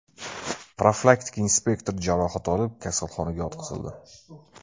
Profilaktika inspektori jarohat olib, kasalxonaga yotqizildi.